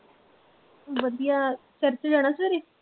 ਵਧੀਆ ਚਰਚ ਜਾਣਾ ਸਵੇਰੇ